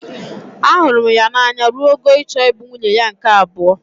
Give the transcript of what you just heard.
Ahụrụ m n'anya ruo ogo ịchọ ịbụ nwunye ya nke abuo.